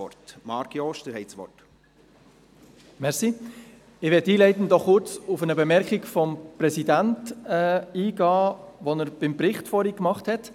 Ich möchte einleitend noch kurz auf eine Bemerkung des Präsidenten eingehen, die er vorhin beim Bericht gemacht hat.